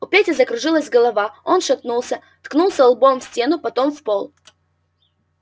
у пети закружилась голова он шатнулся ткнулся лбом в стену потом в пол